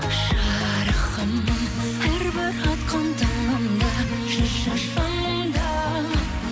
жарығым әрбір атқан таңымда жүрші жанымда